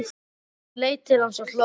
Hún leit til hans og hló.